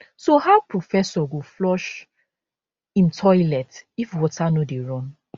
so how professor go flush im toilet if water no dey run